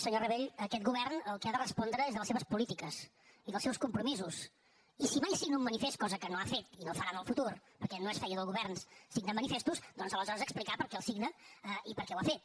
senyor rabell aquest govern el que ha de respondre és de les seves polítiques i dels seus compromisos i si mai signa un manifest cosa que no ha fet i no farà en el futur perquè no és feina de governs signar manifestos doncs aleshores explicar per què els signa i per què ho ha fet